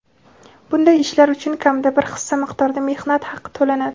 bunday ishlar uchun kamida bir hissa miqdorda mehnat haqi to‘lanadi.